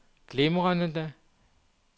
glimrende